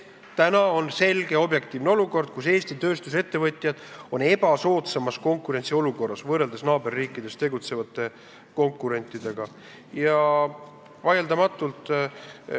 Praegu on selge olukord, kus Eesti tööstusettevõtjad on võrreldes naaberriikides tegutsevate konkurentidega ebasoodsamas olukorras.